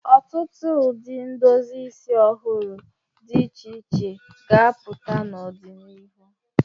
Ọtụtụ ụdị ndozi isi ọhụrụ dị iche iche ga-apụta n'ọdịnihu.